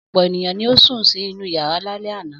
Ọ̀pọ̀ ènìyàn ni ó sun inú ìyàrá lálẹ́ àná.